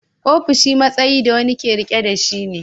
Ofishi matsayi da wani ke riƙe da shi ne.